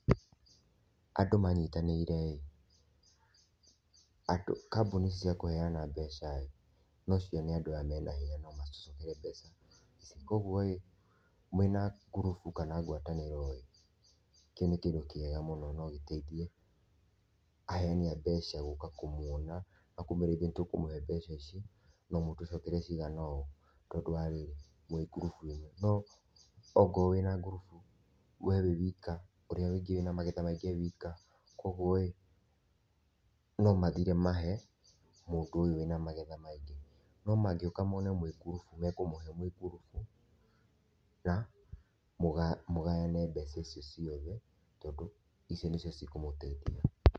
Andũ manyĩtanĩre, andũ kambuni cia kuheana mbeca no cione andũ aya mena hĩnya no matũcokerie mbeca. Kwa ũgũo mwĩna ngurubu kana ngwatanĩro kĩu nĩ kĩndũ kĩega mũno no gĩteithie aheani a mbeca gũka kũmwona na kũmwĩra ithũĩ nĩtũkũmũhe mbeca ici no mũtũcokerie ciigana ũũ tondũ wa rĩrĩ mwĩ ngurubu ĩmwe no okorwo wĩna ngurubu we wĩwika ũrĩa ũngĩ ena magetha maĩngĩ ewĩka kwa ũgũo no mathĩre mahe mũndũ uyu wĩna magetha maĩngĩ no mangĩũka mone mwĩ ngurubu mekũmũhe mwĩ ngurubu na mũgayane mbeca icio ciothe tondũ icio nicio cikũmũteithia.